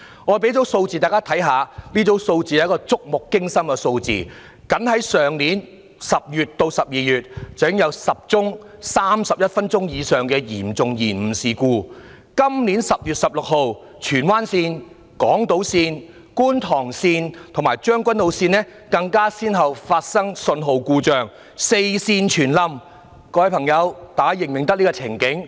我讓大家看看一組觸目驚心的數字：僅在去年10月至12月，已經有10宗31分鐘或以上的嚴重延誤事故；今年10月16日荃灣線、港島線、觀塘線及將軍澳線更先後發生信號故障，"四線全冧"，大家是否認得這個情境呢？